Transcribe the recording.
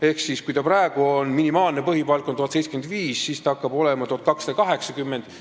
Ehk kui praegu on minimaalne põhipalk 1075, siis edaspidi hakkab see olema 1280 eurot.